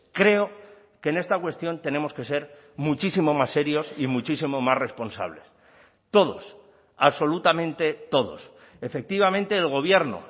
creo que en esta cuestión tenemos que ser muchísimo más serios y muchísimo más responsables todos absolutamente todos efectivamente el gobierno